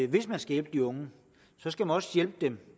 hvis man skal hjælpe de unge skal man også hjælpe dem